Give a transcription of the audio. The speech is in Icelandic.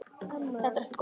Þetta er ekki góð þróun.